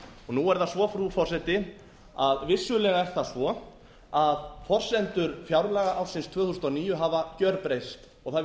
nú er það svo frú forseti að vissulega er það svo að forsendur fjárlaga ársins tvö þúsund og níu hafa gerbreyst og það